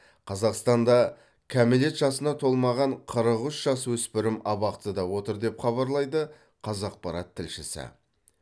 қазақстанда кәмелет жасына толмаған қырық үш жасөспірім абақтыда отыр деп хабарлайды қазақпарат тілшісі